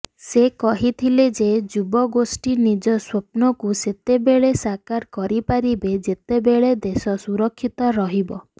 ସେ କହିଥିଲେ ଯେ ଯୁବଗୋଷ୍ଠି ନିଜ ସ୍ୱପ୍ନକୁ ସେତେବେଳେ ସାକାର କରିପାରିବେ ଯେତେବେଳେ ଦେଶ ସୁରକ୍ଷିତ ରହିବ